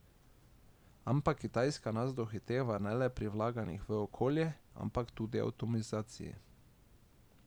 Ampak Kitajska nas dohiteva ne le pri vlaganjih v okolje, ampak tudi v avtomatizaciji.